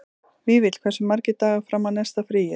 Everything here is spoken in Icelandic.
Vífill, hversu margir dagar fram að næsta fríi?